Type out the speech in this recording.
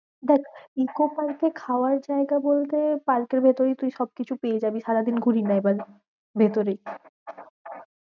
দেখ ইকো পার্কে খাওয়ার জায়গা বলতে পার্কের ভিতরেই তুই সব কিছু পেয়ে যাবি সারাদিন ঘুরিনা এবার ভেতরে।